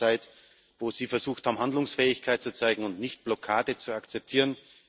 Es war eine Zeit, in der Sie versucht haben, Handlungsfähigkeit zu zeigen und nicht Blockade zu akzeptieren.